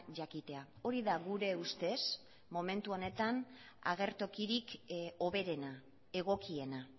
jakitea hori da gure ustez momentu honetan agertokirik hoberena egokiena